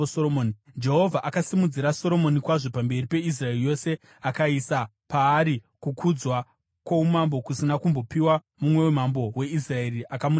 Jehovha akasimudzira Soromoni kwazvo pamberi peIsraeri yose akaisa paari kukudzwa kwoumambo kusina kumbopiwa mumwe mambo weIsraeri akamutangira.